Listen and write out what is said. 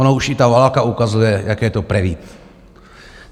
Ona už i ta válka ukazuje, jaký je to prevít.